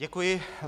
Děkuji.